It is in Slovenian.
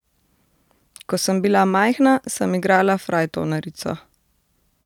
Ko sem bila majhna, sem igrala frajtonerico.